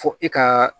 Fo e ka